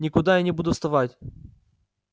никуда я не буду вставать